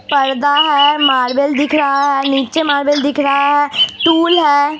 पर्दा है । मार्बल दिख रहा है। नीचे मार्बल दिख रहा है टूल है।